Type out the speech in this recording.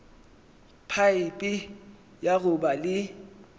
phaephe ya go ba le